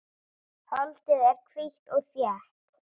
Holdið er hvítt og þétt.